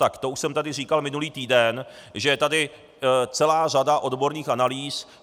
Tak to už jsem tady říkal minulý týden, že je tady celá řada odborných analýz.